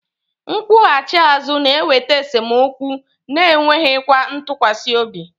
Nkwughachi azu na-eweta esemokwu na enweghị ntụkwasị obi